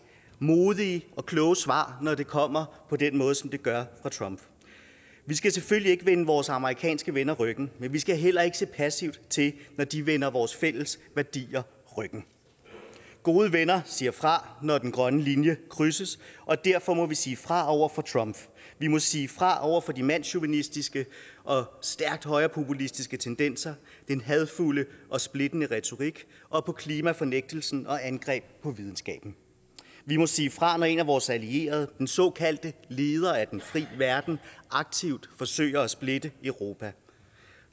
modige og kloge svar når det kommer på den måde som det gør fra trump vi skal selvfølgelig ikke vende vores amerikanske venner ryggen men vi skal heller ikke se passivt til når de vender vores fælles værdier ryggen gode venner siger fra når den grønne linje krydses og derfor må vi sige fra over for trump vi må sige fra over for de mandschauvinistiske og stærkt højrepopulistiske tendenser den hadefulde og splittende retorik og klimafornægtelsen og angreb på videnskaben vi må sige fra når en af vores allierede den såkaldte leder af den frie verden aktivt forsøger at splitte europa